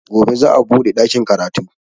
Gobe za a buɗe ɗakin karatu